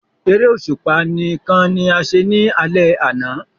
Eré òṣùpá nìkan ní a ṣe ní alè àna